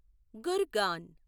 Gurgaon